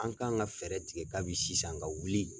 An kan ka fɛɛrɛ tigɛ kabi sisan ka wuli.